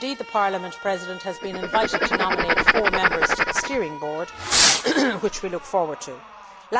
Parliament's President has been invited to nominate four members to the steering board, and we look forward to that.